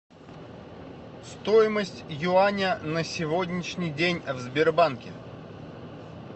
стоимость юаня на сегодняшний день в сбербанке